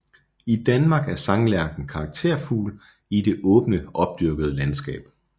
I Danmark er sanglærken karakterfugl i det åbne opdyrkede landskab